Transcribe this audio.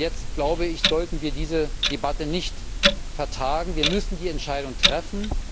Und jetzt sollten wir diese Debatte nicht vertagen, wir müssen eine Entscheidung treffen.